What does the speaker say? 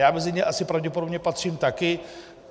Já mezi ně asi pravděpodobně patřím také.